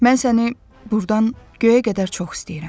Mən səni burdan göyə qədər çox istəyirəm.